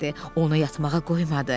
Onu yatmağa qoymadı.